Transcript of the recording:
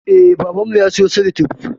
Eh, babanmu ya siyo salatif